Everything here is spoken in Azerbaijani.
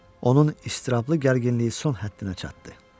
Onun istiraplı gərginliyi son həddinə çatdı.